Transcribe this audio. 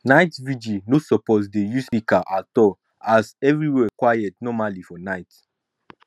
night vigil no suppose dey use speaker at all as evriwhere quiet normally for night